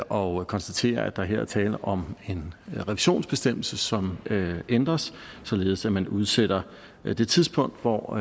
og konstatere at der her er tale om en revisionsbestemmelse som ændres således at man udsætter det tidspunkt hvor